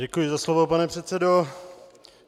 Děkuji za slovo, pane předsedo.